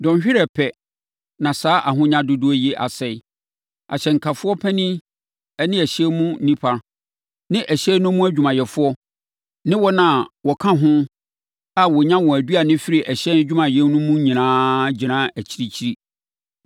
Dɔnhwere pɛ, na saa ahonya dodoɔ yi asɛe.’ “Ahyɛnkafoɔ panin ne ɛhyɛn no mu nnipa, ne ɛhyɛn no mu adwumayɛfoɔ, ne wɔn a wɔka ho a wɔnya wɔn anoduane firi ɛhyɛn adwumayɛ mu no nyinaa gyinaa akyirikyiri.